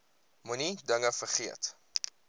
moenie dinge vergeet